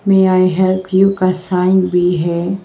May I help you का sign भी है।